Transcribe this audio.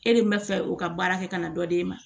E de bɛ fɛ u ka baara kɛ ka na dɔ d'e ma